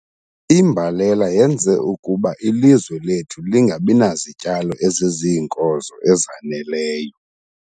Imbalela yenze ukuba ilizwe lethu lingabi nazityalo eziziinkozo ezaneleyo.